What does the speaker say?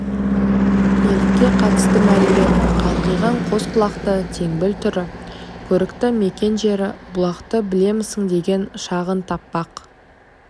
елікке қатысты мәлімет қалқиған қос құлақты теңбіл түрі көрікті мекен жері бұлақты білемісің деген шағын тақпақ